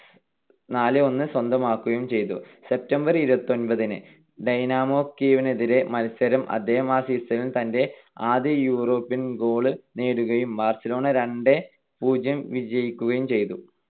നാല് - ഒന്ന് സ്വന്തമാക്കുകയും ചെയ്തു. September ഇരുപത്തിഒൻപതിന് ഡൈനാമോ കീവിനെതിരായ മത്സരത്തിൽ അദ്ദേഹം ആ season ലെ തന്റെ ആദ്യ യൂറോപ്യൻ goal ഗോൾ നേടുകയും ബാർസലോണ രണ്ട് - പൂജ്യം വിജയിക്കുകയും ചെയ്തു.